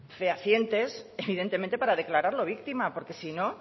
fehacientes evidentemente para declararlo víctima porque si no